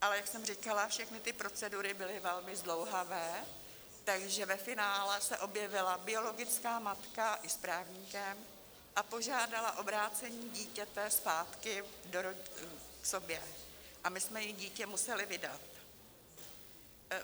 Ale jak jsem říkala, všechny ty procedury byly velmi zdlouhavé, takže ve finále se objevila biologická matka i s právníkem a požádala o vrácení dítěte zpátky k sobě a my jsme jí dítě museli vydat.